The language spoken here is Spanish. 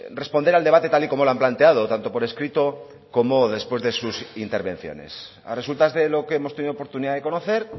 responder al debate tal y como lo han planteado tanto por escrito como después de sus intervenciones a resultas de lo que hemos tenido oportunidad de conocer